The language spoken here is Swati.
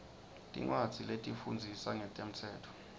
tincwadzi letifundzisa ngemtsetfo